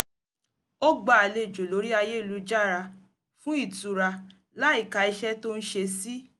ó gbá àlejò lórí ayélujára fún ìtura láìka iṣẹ́ tó ń ṣe sí